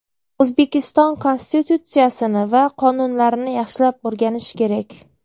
O‘zbekiston Konstitutsiyasini va qonunlarini yaxshilab o‘rganish kerak.